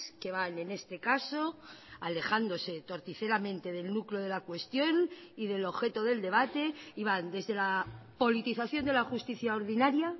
que van en este caso alejándose torticeramente del núcleo de la cuestión y del objeto del debate y van desde la politización de la justicia ordinaria